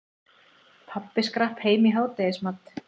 Pabbi skrapp heim í hádegismat.